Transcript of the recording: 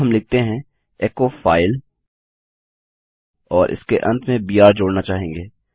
अब हम लिखते हैं एचो फाइल और इसके अंत में बीआर जोड़ना चाहेंगे